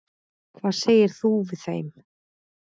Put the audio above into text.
Hvað segir þú við þeim?